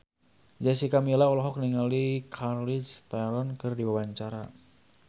Jessica Milla olohok ningali Charlize Theron keur diwawancara